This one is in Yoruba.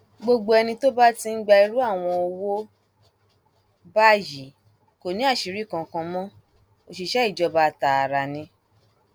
gbogbo ẹni tó bá ti ń gba irú àwọn owó báyìí kò ní àṣírí kankan mọ òṣìṣẹ ìjọba tààrà ni